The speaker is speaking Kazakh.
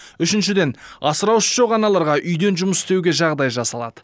үшіншіден асыраушысы жоқ аналарға үйден жұмыс істеуге жағдай жасалады